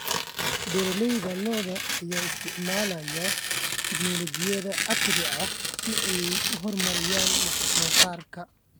Beeralayda lo'da ayaa isticmaalaya tignoolajiyada casriga ah si ay u horumariyaan wax soo saarka.